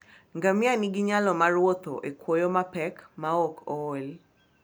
Ngamia nigi nyalo mar wuotho e kwoyo mapek maok ool.